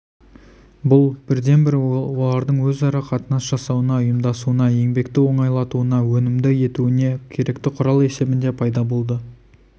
бұл бірден-бір олардың өзара қатынас жасауына ұйымдасуына еңбекті оңайлатуына өнімді етуіне керекті құрал есебінде пайда болды